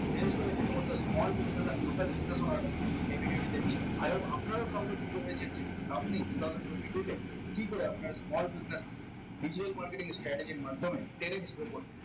বিশেষ করে যে সমস্ত small business and local business order এই video টি দেখছেন আর আপনারাও সহজে বুঝতে পেরেছেন যে আপনি two thousand twenty two তে কি করে আপনার small business digital marketing strategy এর মাধ্যমে tradex grow করবে